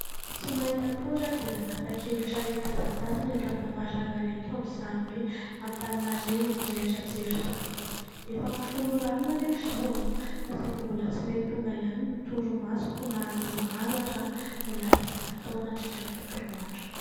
Tsy mahita tory aho dia nanapa-kevitra ny hitazatazana eto an-davarangana eto, amin'izany hoe Antananarivo mirehitra jiro izany. Efa amin'ny folo ora alina anefa izao, fa saingy mbola tsy mety tonga ihany ny torimasoko na dia maro aza ny asa izay natao nandritra ny tontolo andro.